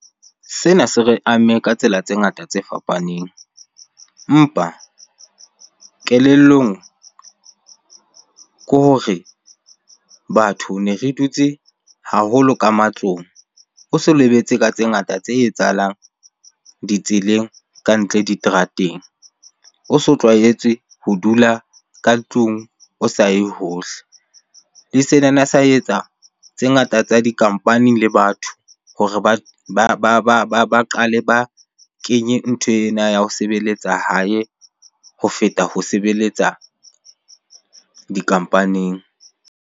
Sena se re amme ka tsela tse ngata tse fapaneng. Empa kelellong ke hore batho ne re dutse haholo ka matlong, o so o lebetse ka tse ngata tse etsahalang ditseleng ka ntle diterateng. O so tlwaetse ho dula ka tlung o sa ye hohle. Le sa etsa tse ngata tsa di-company le batho hore ba qale ba kenye ntho ena ya ho sebeletsa hae ho feta ho sebeletsa di-company-ing.